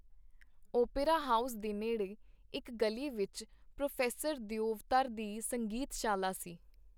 Opera house ਦੇ ਨੇੜੇ, ਇਕ ਗਲੀ ਵਿਚ, ਪ੍ਰੋਫੈਸਰ ਦਿਓਵਧਰ ਦੀ ਸੰਗੀਤ-ਸ਼ਾਲਾ ਸੀ.